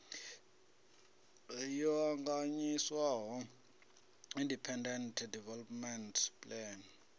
yo ṱanganyiswaho independent development plan